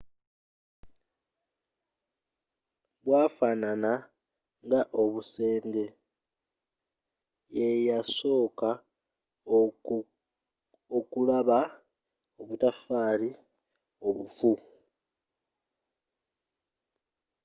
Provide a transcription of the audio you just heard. bwafanana nga obusenge yeyasooka okulaba obutaffaali obufu